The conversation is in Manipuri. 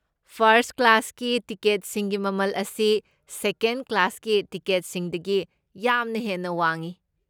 ꯐꯔꯁꯠ ꯀ꯭ꯂꯥꯁꯀꯤ ꯇꯤꯀꯦꯠꯁꯤꯡꯒꯤ ꯃꯃꯜ ꯑꯁꯤ ꯁꯦꯀꯦꯟꯗ ꯀ꯭ꯂꯥꯁꯀꯤ ꯇꯤꯀꯦꯠꯁꯤꯡꯗꯒꯤ ꯌꯥꯝꯅ ꯍꯦꯟꯅ ꯋꯥꯡꯏ꯫